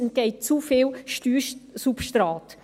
Uns entgeht zu viel Steuersubstrat.